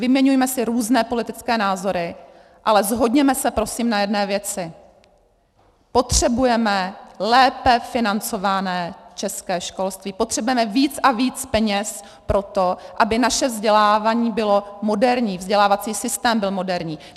Vyměňujme si různé politické názory, ale shodněme se prosím na jedné věci - potřebujeme lépe financované české školství, potřebujeme víc a víc peněz pro to, aby naše vzdělávání bylo moderní, vzdělávací systém byl moderní.